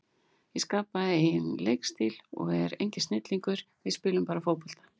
Ég skapaði engan leikstíl, ég er enginn snillingur, við spilum bara fótbolta.